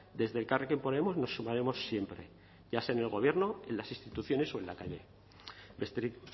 desde elkarrekin podemos nos sumaremos siempre ya sea en el gobierno en las instituciones o en la calle besterik